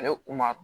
Ale kun ma